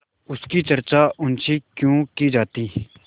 उसकी चर्चा उनसे क्यों की जाती